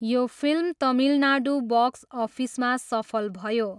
यो film Tamil Nadu box अफिसमा सफल भयो।